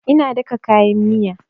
Ina daka kayan miyan